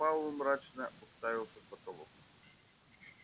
пауэлл мрачно уставился в потолок